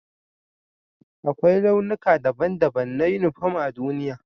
Akwai launuka daban-daban na uniporm a duniya.